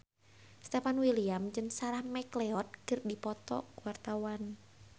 Stefan William jeung Sarah McLeod keur dipoto ku wartawan